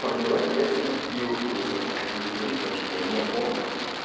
так ну давайте я сегодня купил сейчас буду смотреть потому что я не помню